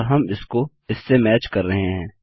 अतः हम इससे इसको मैच कर रहे हैं